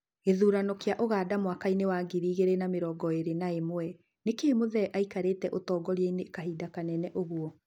Gĩthurano kĩa Ũganda mwakainĩ wa ngiri igĩrĩ na mĩrongo ĩrĩ na ĩmwe: nĩkĩĩ Muthee aikarĩte ũtogoriainĩ kahinda kanene ũgũo?